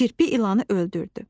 Kirpi ilanı öldürdü.